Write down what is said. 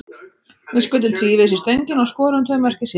Við skutum tvívegis í stöngina og skoruðum tvö mörk í síðari hálfleik.